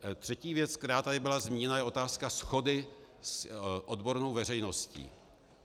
Třetí věc, která tady byla zmíněna, je otázka shody s odbornou veřejností.